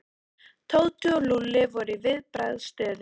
Tóti og Lúlli voru í viðbragðsstöðu.